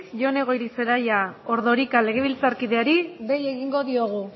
jone goirizelaia ordorika legebiltzarkideari dei egingo diogu